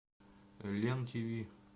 лен тв